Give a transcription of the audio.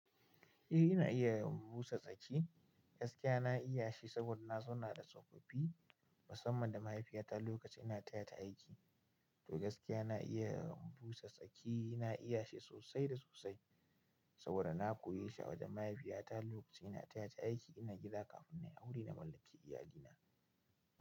Eh ina iya busa tsaki gaskiya na iya shi saboda na zauna da tsofaffi musamman da mahaifiyata lokacin ina tayata aiki. Toh gaskiya na iya busa tsaki na iya shi sosai da sosai. Saboda na koye shi a wajen mahaifiyata lokacin ina taya ta aiki ina gida kafin na yi aure na mallaki iyalina.